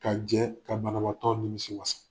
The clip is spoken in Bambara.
Ka jɛ ka banabaatɔ nimisi wasa.